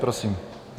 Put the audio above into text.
Prosím.